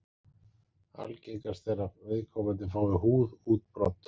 Algengast er að viðkomandi fái húðútbrot.